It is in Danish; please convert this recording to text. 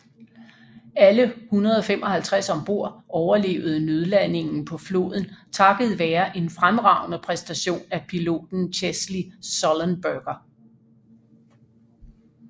Alle 155 om bord overlevede nødlandingen på floden takket være en fremragende præstation af piloten Chesley Sullenberger